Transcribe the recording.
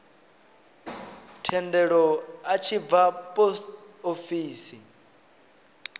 thendelo a tshi bva posofisi